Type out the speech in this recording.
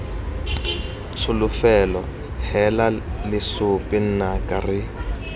tsholofelo heela lesope nnaka re